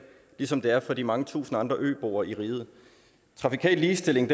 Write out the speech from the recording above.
ligesom det er for de mange tusind andre øboer i riget trafikal ligestilling